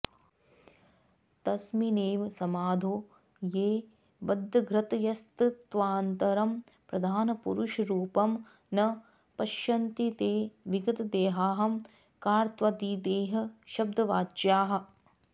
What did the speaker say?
तस्मिन्नेव समाधौ ये बद्धधृतयस्तत्त्वान्तरं प्रधानपुरुषरूपं न पश्यन्ति ते विगतदेहाहंकारत्वाद्विदेहशब्दवाच्याः